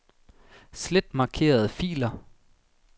Slet markerede filer.